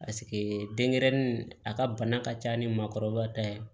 denɲɛrɛnin a ka bana ka ca ni maakɔrɔba ta ye